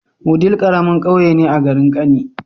Wudil karamin ƙauye ne a garin kani